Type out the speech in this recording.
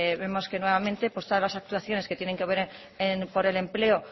vemos que nuevamente todas las actuaciones que tienen que ver con el empleo